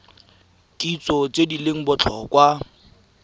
kitso tse di leng botlhokwa